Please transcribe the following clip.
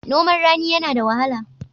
Noman rani yana da wahala.